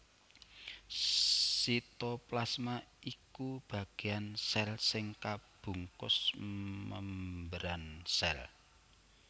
Sitoplasma iku bagéan sèl sing kabungkus membran sèl